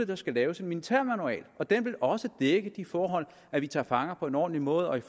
der skal laves en militærmanual og den vil også dække de forhold at vi tager fanger på en ordentlig måde og i